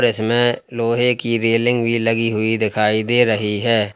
और इसमें लोहे की रेलिंग भी लगी हुई दिखाई दे रही है।